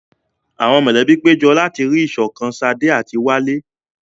Àwọn mọ̀lẹ́bí péjọ láti rí ìṣọ̀kan Sade àti Wale.